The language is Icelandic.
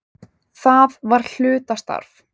Það var hlutastarf.